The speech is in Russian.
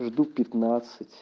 жду пятнадцать